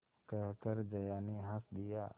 कहकर जया ने हँस दिया